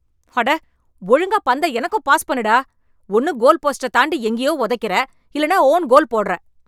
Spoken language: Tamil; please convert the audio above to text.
அட ஒழுங்கா பந்த எனக்கும் பாஸ் பண்ணு டா! ஒன்னு கோல்போஸ்டத் தாண்டி எங்கேயோ உதைக்கிற, இல்லன்னா ஓன் கோல் போடுற!